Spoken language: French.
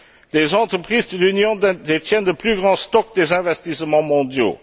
Les entreprises de l'Union détiennent les plus grands stocks des investissements mondiaux.